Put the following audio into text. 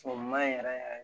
Sɔgɔma in yɛrɛ